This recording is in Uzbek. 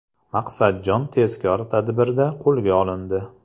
Maqsadjon tezkor tadbirda qo‘lga olindi.